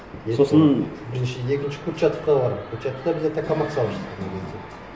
сосын бірінші екінші курчатовқа бардым курчатовта обязательно салып жатқан ол кезде